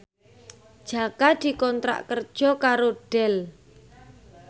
Jaka dikontrak kerja karo Dell